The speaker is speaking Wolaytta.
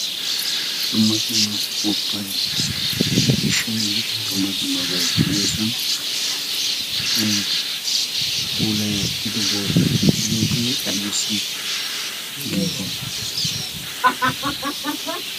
dumma dumma upupay de'ishenne dumma dumaabay de'iyoosan pulay wottido bootei ha guutai ibisi geegisdee?